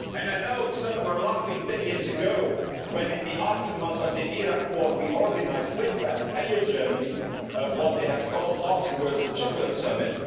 I know, some were laughing ten years ago when in the aftermath of the Iraq war we organised with France and with Germany what they called afterwards the Chocolate Summit.